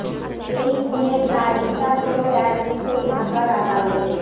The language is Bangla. এই খুনের দায় স্বীকার করে এক কিশোর ঢাকার আদালতে